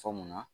Fɔ munna